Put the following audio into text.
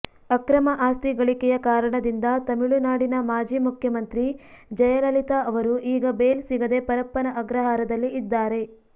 ಅಕ್ರಮ ಆಸ್ತಿ ಗಳಿಕೆಯ ಕಾರಣದಿಂದ ತಮಿಳುನಾಡಿನ ಮಾಜಿ ಮುಖ್ಯಮಂತ್ರಿ ಜಯಲಲಿತಾ ಅವರು ಈಗ ಬೇಲ್ ಸಿಗದೆ ಪರಪ್ಪನ ಅಗ್ರಹಾರದಲ್ಲಿ ಇದ್ದಾರೆ